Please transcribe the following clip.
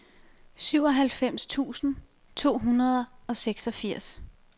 syvoghalvfems tusind to hundrede og seksogfirs